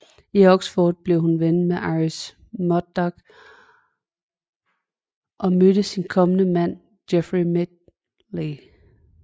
I Oxford blev hun ven med Iris Murdoch og mødte sin kommende mand Geoffrey Midgley